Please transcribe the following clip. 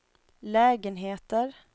lägenheter